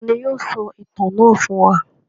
Ta ni yóò tú ìtàn náà sọ fún wa?